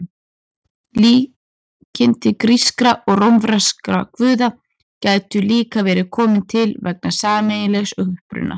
Líkindi grískra og rómverskra guða gætu líka verið komin til vegna sameiginlegs uppruna.